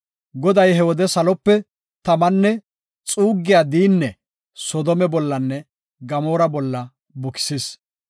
Goday he wode salope tamanne xuuggiya diine Soodome bollanne Gamoora bolla bukisis.